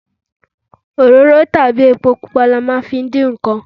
Òróró tàbí epo pupa ni a máa ń fi dín nǹkan.